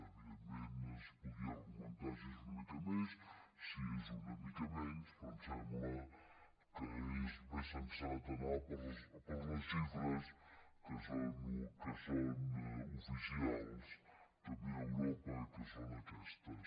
evidentment es podria argumentar si és una mica més si és una mica menys però em sembla que és més sensat anar per les xifres que són oficials també a europa que són aquestes